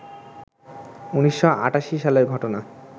১৯৮৮ সালের ঘটনা